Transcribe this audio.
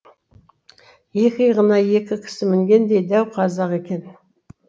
екі иығына екі кісі мінгендей дәу қазақ екен